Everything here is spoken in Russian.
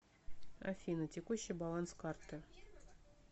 афина текущий баланс карты